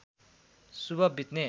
शुभ बित्ने